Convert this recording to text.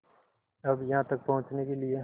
अब यहाँ तक पहुँचने के लिए